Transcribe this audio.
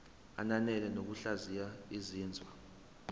ananele ngokuhlaziya izinzwa